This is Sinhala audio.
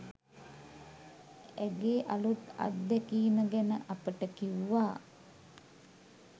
ඇගේ අලුත් අත්දැකීම ගැන අපට කිව්වා.